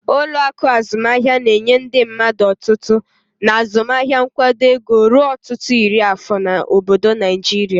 Ụlọ akụ azụmaahịa na-enye ndị mmadụ otutu na azụmaahịa nkwado ego ruo ọtụtụ iri afọ na obodo Naijiria.